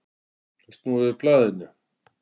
Að snúa við blaðinu